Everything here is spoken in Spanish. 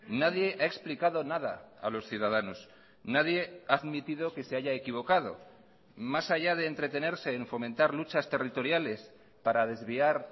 nadie ha explicado nada a los ciudadanos nadie ha admitido que se haya equivocado más allá de entretenerse en fomentar luchas territoriales para desviar